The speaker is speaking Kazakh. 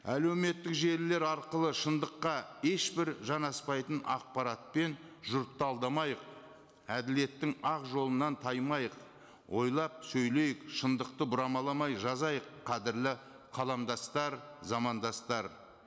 әлеуметтік желілер арқылы шындыққа ешбір жанаспайтын ақпаратпен жұртты алдамайық әділеттің ақ жолынан таймайық ойлап сөйлейік шындықты бұрамаламай жазайық қадірлі қаламдастар замандастар